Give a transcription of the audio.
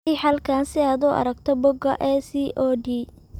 Riix halkan si aad u aragto bogga ACOD.